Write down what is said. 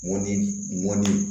Mɔni mɔni